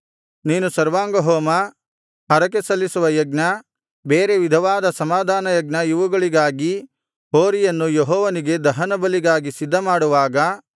ನೀನು ಸರ್ವಾಂಗಹೋಮ ಹರಕೆಸಲ್ಲಿಸುವ ಯಜ್ಞ ಬೇರೆ ವಿಧವಾದ ಸಮಾಧಾನಯಜ್ಞ ಇವುಗಳಿಗಾಗಿ ಹೋರಿಯನ್ನು ಯೆಹೋವನಿಗೆ ದಹನ ಬಲಿಗಾಗಿ ಸಿದ್ಧಮಾಡುವಾಗ